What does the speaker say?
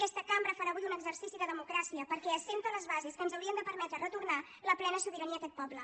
aquesta cambra farà avui un exercici de democràcia perquè assenta les bases del que ens hauria de permetre retornar la plena sobirania a aquest poble